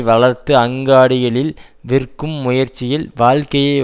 வளர்த்து அங்காடிகளில் விற்கும் முயற்சியில் வாழ்க்கையை